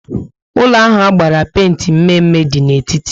Ụlọ ahụ agbara penti mme mme dị n'etiti